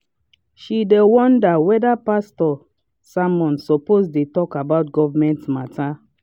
she dey wonder weda pastor sermon suppose dey talk about government matter.